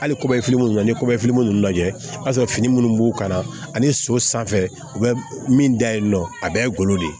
Hali kɔbefini ninnu na ni fitinin minnu lajɛ i b'a sɔrɔ fini minnu b'u kan ani so sanfɛ u bɛ min da yen nɔ a bɛɛ ye golo de ye